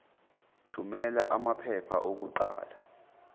thumela amaphepha okuqala